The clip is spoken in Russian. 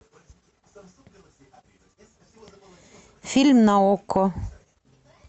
фильм на окко